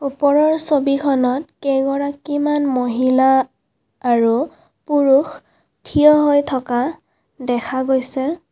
ওপৰৰ ছবিখনত কেইগৰাকীমান মহিলা আৰু পুৰুষ থিয় হৈ থকা দেখা গৈছে।